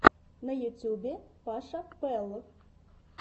на ютьюбе паша пэл